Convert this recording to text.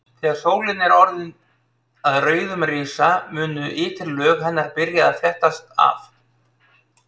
Þegar sólin er orðin að rauðum risa munu ytri lög hennar byrja að flettast af.